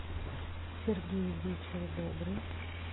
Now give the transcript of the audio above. сергей вечер добрый